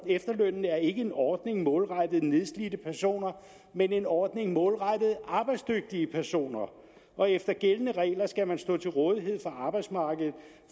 efterlønnen er ikke en ordning målrettet nedslidte personer men en ordning målrettet arbejdsdygtige personer og efter gældende regler skal man stå til rådighed for arbejdsmarkedet